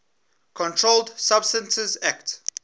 controlled substances acte